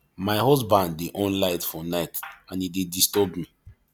my husband dey on light for night and e dey disturb me